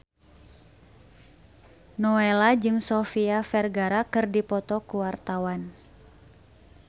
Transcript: Nowela jeung Sofia Vergara keur dipoto ku wartawan